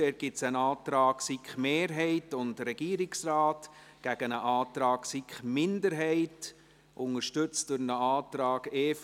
Dort gibt es einen Antrag der SiK-Mehrheit und des Regierungsrates gegen einen Antrag der SiK-Minderheit, unterstützt durch einen Antrag der EVP.